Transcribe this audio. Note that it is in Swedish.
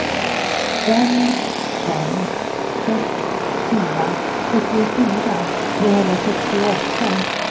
fem fem sex fyra sjuttiofyra trehundrasextioåtta